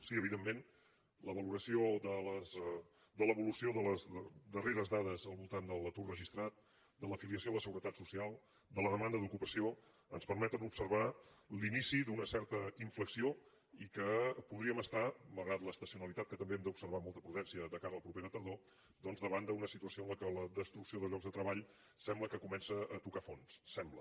sí evidentment la valoració de l’evolució de les darreres dades al voltant de l’atur registrat de l’afiliació a la seguretat social de la demanda d’ocupació ens permeten observar l’inici d’una certa inflexió i que podríem estar malgrat l’estacionalitat que també hem d’observar amb molta prudència de cara a la propera tardor doncs davant d’una situació en la qual la destrucció de llocs de treball sembla que comença a tocar fons ho sembla